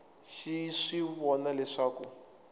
xi swi vona leswaku a